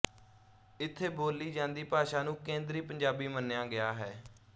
ਇਥੇ ਬੋਲੀ ਜਾਂਦੀ ਭਾਸ਼ਾ ਨੂੰ ਕੇਂਦਰੀ ਪੰਜਾਬੀ ਮੰਨਿਆ ਗਿਆ ਹੈ